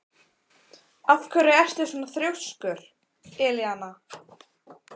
Af hverju ertu svona þrjóskur, Elíana?